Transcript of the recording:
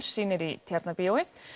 sýnir í Tjarnarbíói